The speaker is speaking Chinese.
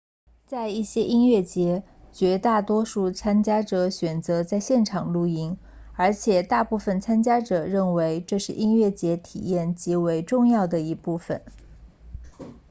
在一些音乐节绝大多数参加者选择在现场露营而且大部分参加者认为这是音乐节体验极为重要的一部分